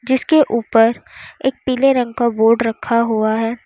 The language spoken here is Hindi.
जिसके ऊपर एक पीले रंग का बोर्ड रखा हुआ है।